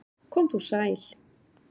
Kom þú sæl!